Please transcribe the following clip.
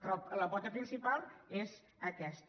però la pota principal és aquesta